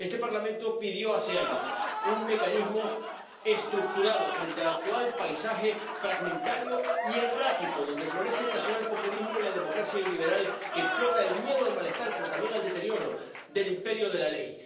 Este Parlamento pidió hace años un mecanismo estructurado frente al actual paisaje fragmentario y errático donde florecen el nacionalpopulismo y la democracia iliberal que explotan el miedo al malestar, pero también el deterioro del imperio de la ley.